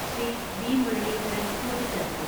Shri V Muraleedharan കൂട്ടിച്ചേർത്തു.